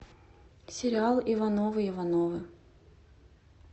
сериал ивановы ивановы